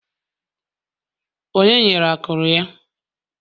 Onye nyere akụrụ ya?